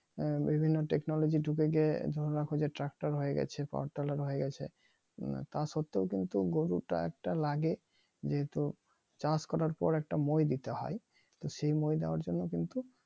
বিভিন্ন টেকনোলজি ডুকে গিয়ে ধরে রাখো যে ট্রাকটার হয়ে গিয়েছে পথ আলাদা হয়ে গেছে তাও সত্তেও কিন্তু গরুতো একটা লাগে যেহেতু চাষ করার পর একটা মই দিতে হয় তো সেই মই দেওয়ার জন্য কিন্তু